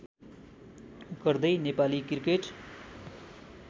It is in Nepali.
गर्दै नेपाली क्रिकेट